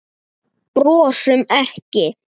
Brosum ekki.